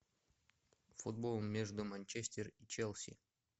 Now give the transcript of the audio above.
футбол между манчестер и челси